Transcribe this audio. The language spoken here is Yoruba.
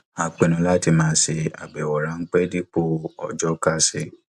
a pinnu láti máa ṣe àbẹwò ránpẹ dipo ọjọ kásẹ